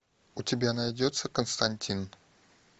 у тебя найдется константин